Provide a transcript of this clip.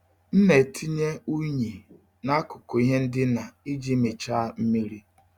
M na-etinye unyi n'akụkụ ihe ndina iji michaa mmiri.